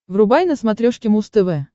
врубай на смотрешке муз тв